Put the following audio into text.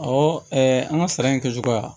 an ka sara in kɛcogoya